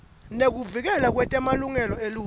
nekuvikelwa kwemalungelo eluntfu